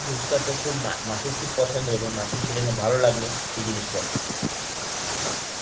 তে মা~ মাসির খুব পছন্দ হলো, মাসির সেইজন্যে খুব ভালো লাগলো সেই জিনিসটা.